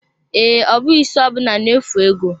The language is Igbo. Ee, ọ bụghị isi ọbụna na-efu ego.